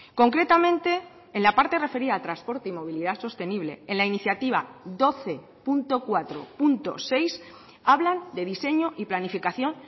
concretamente en la parte referida a transporte y movilidad sostenible en la iniciativa doce punto cuatro punto seis hablan de diseño y planificación